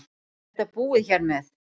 Er þetta búið hér með?